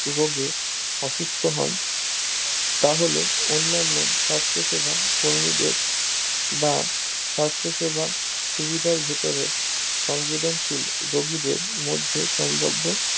রোগে অসুস্থ হন তাহলে অন্নান্য সাস্থ সেবা কর্মীদের বা স্বাস্থসেবা সুবিধার ভেতরে সংবিধানশীল রুগীদের মধ্যে সংগব্বো